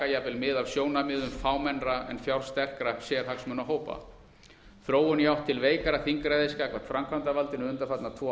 jafnvel mið af sjónarmiðum fámennra en fjársterkra sérhagsmunahópa þróun í átt til veikara þingræðis gagnvart framkvæmdarvaldinu undanfarna tvo